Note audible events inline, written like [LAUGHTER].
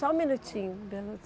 Só um minutinho. [UNINTELLIGIBLE]